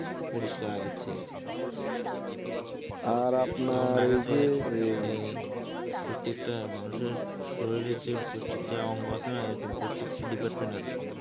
পরিষ্কার আগের চেয়ে। এই প্রত্যেকটা মানুষের শরীরে যে প্রত্যেকটা অঙ্গ আছে না এমন প্রত্যেকটা department আছে